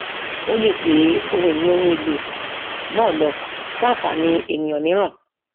ó lè gbé ohun ìní ohun èlò náà lọ fún ànfàní ènìyàn mìíràn